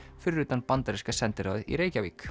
fyrir utan bandaríska sendiráðið í Reykjavík